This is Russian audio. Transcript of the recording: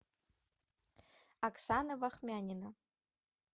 оксана вахмянина